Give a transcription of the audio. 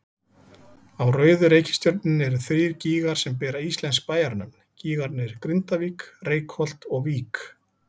Á rauðu reikistjörnunni eru þrír gígar sem bera íslensk bæjarnöfn, gígarnir Grindavík, Reykholt og Vík.